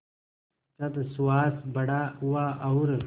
जब सुहास बड़ा हुआ और